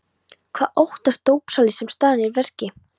Hvað óttast dópsali sem staðinn er að verki?